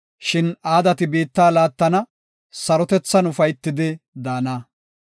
Shin aadati biitta laattana; sarotethan ufaytidi daana.